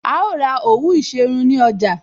A ó ra òwú ìṣerun ní ọjà